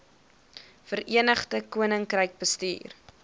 verenigde koninkryk bestuur